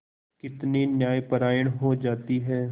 कितनी न्यायपरायण हो जाती है